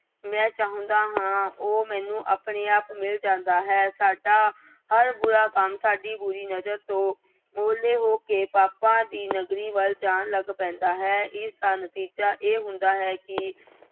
ਮੈਂ ਚਾਹੁੰਦਾ ਹਾਂ ਉਹ ਮੈਨੂੰ ਆਪਣੇ ਆਪ ਮਿਲ ਜਾਂਦਾ ਹੈ। ਸਾਡਾ ਹਰ ਬੁਰਾ ਕੰਮ ਸਾਡੀ ਬੁਰੀ ਨਜ਼ਰ ਤੋਂ ਉਹਲੇ ਹੋ ਕੇ ਪਾਪਾਂ ਦੀ ਨਗਰੀ ਵੱਲ ਜਾਣ ਲੱਗ ਪੈਂਦਾ ਹੈ। ਇਸਦਾ ਨਤੀਜਾ ਇਹ ਹੁੰਦਾ ਹੈ ਕਿ